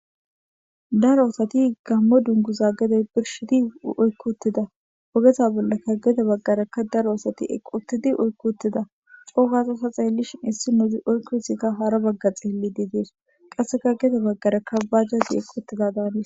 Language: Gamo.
Daro asati gamo dunguza gede birshidi oyki uttida ogeza bagarakka gede daro asati eqi utida cogada ta xelishin isinozika oyki uttidi hara baga xelidi des qaseka heni bagara bajajazika eqi uttida danes